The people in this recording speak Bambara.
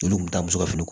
Olu kun t'a muso ka fini